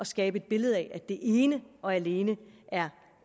skabe et billede af at det ene og alene er